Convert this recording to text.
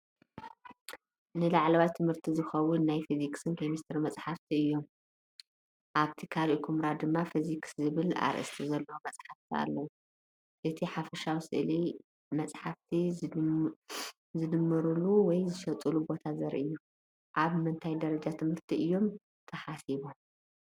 ንላዕለዋይ ትምህርቲ ዝኸውን ናይ ፊዚክስን ኬሚስትሪን መጻሕፍቲ እዮም። ኣብቲ ካልእ ኵምራ ድማ "ፊዚክስ" ዝብል ኣርእስቲ ዘለዎም መጻሕፍቲ ኣለዉ። እቲ ሓፈሻዊ ስእሊ መጽሓፍቲ ዝድምርሉ ወይ ዝሽየጠሉ ቦታ ዘርኢ እዩ። ኣብ ምንታይ ደረጃ ትምህርቲ እዮም ተሓሲቦም?